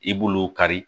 I b'olu kari